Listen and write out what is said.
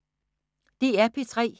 DR P3